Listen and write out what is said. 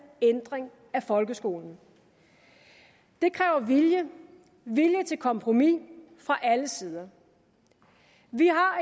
ændring af folkeskolen det kræver vilje vilje til kompromis fra alle sider vi har